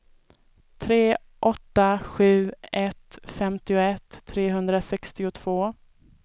tre åtta sju ett femtioett trehundrasextiotvå